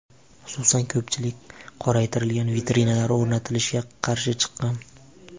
Xususan, ko‘pchilik qoraytirilgan vitrinalar o‘rnatilishiga qarshi chiqqan.